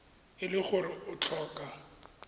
e le gore o tlhoka